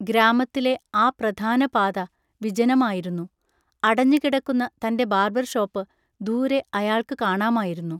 ഗ്രാമത്തിലെ ആ പ്രധാനപാത വിജനമായിരുന്നു. അടഞ്ഞുകിടക്കുന്ന തൻ്റെ ബാർബർഷോപ്പ് ദൂരെ അയാൾക്ക് കാണാമായിരുന്നു.